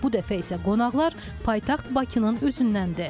Bu dəfə isə qonaqlar paytaxt Bakının özündəndir.